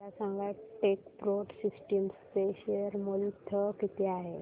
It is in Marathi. मला सांगा टेकप्रो सिस्टम्स चे शेअर मूल्य किती आहे